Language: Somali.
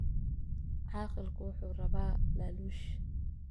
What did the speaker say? Caaqilku wuxuu rabaa laaluush